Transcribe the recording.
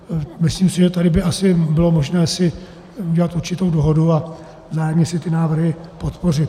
Myslím si, že tady by asi bylo možné si udělat určitou dohodu a vzájemně si ty návrhy podpořit.